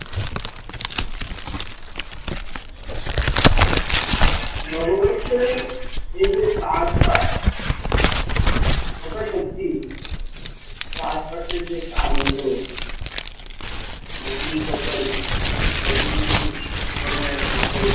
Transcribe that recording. নববর্ষের এই যে চাষবাস কথা সত্যি, চাষবাসের যে একটা আনন্দ নতুন ফসল নতুন নতুন ধরনের ফসল